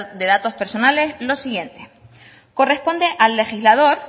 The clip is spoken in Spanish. de datos personales los siguientes corresponde al legislador